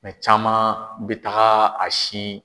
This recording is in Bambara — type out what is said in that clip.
Mɛ caman bɛ taga a sin